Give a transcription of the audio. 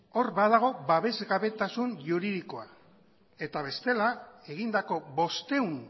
hor badago babesgabetasun juridikoa eta bestela egindako bostehun